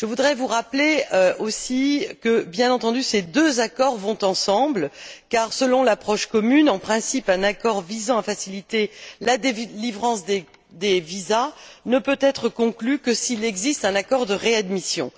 Je voudrais vous rappeler aussi que, bien entendu, ces deux accords vont de pair car, selon l'approche commune, en principe un accord visant à faciliter la délivrance des visas ne peut être conclu que s'il existe un accord de réadmission.